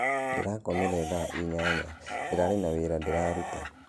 Ndĩrakomire thaa inyanya, ndĩrarĩ na wĩra ndĩraruta